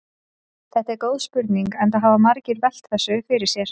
Þetta er góð spurning enda hafa margir velt þessu fyrir sér.